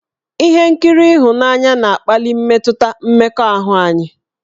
Ihe nkiri ịhụnanya na-akpali mmetụta mmekọahụ anyị.